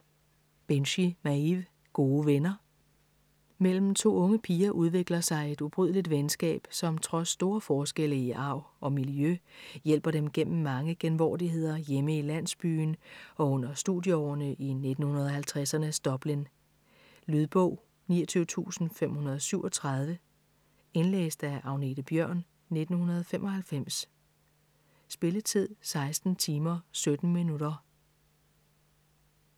Binchy, Maeve: Gode venner Mellem to unge piger udvikler sig et ubrydeligt venskab, som trods store forskelle i arv og miljø hjælper dem gennem mange genvordigheder hjemme i landsbyen og under studieårene i 1950'ernes Dublin. Lydbog 29537 Indlæst af Agnethe Bjørn, 1995. Spilletid: 16 timer, 17 minutter.